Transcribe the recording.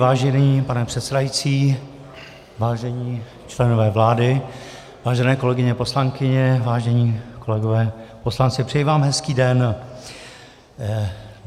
Vážený pane předsedající, vážení členové vlády, vážené kolegyně poslankyně, vážení kolegové poslanci, přeji vám hezký den.